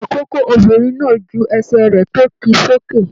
Ikòkò obìnrin náà jù ẹsẹ rẹ tó kí sókè.